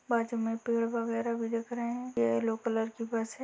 बाजू में पेड़ वगेरा भी दिख रहे हैं। ये येलो कलर की बस है।